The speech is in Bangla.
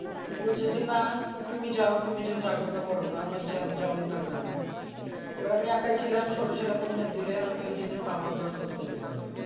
যে বলছে যে না তুমি যাও তুমি আমার যাওয়ার দরকার নাই